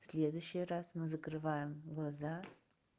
следующий раз мы закрываем глаза